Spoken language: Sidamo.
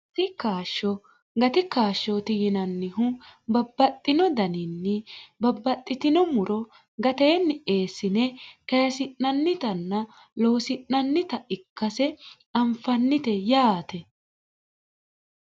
asi kaashsho gati kaashshooti yinannihu babbaxxino daninni babbaxxitino muro gateenni eessine kayesi'nannitanna loosi'nannita ikkase anfannite yaate